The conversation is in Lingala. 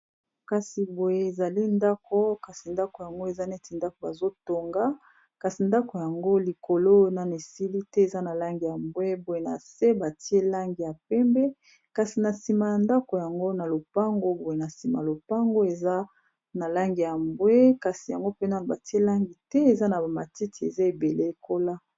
Kasi boye ezali ndako kasi ndako yango eza neti ndako bazotonga, kasi ndako yango likolo nani esili te eza na langi ya mbwe, boye na se batie langi ya pembe kasi na nsima ya ndako yango na lopango, boye na nsima lopango eza na langi ya mbwe kasi yango mpena batie langi te eza na bamatiti eza ebele ekola.